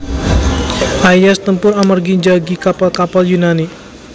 Aias tempur amargi njagi kapal kapal Yunani